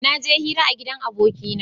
Naje hira a gidan abokina